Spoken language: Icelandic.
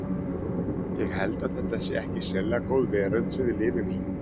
Ég held að þetta sé ekki sérlega góð veröld sem við lifum í.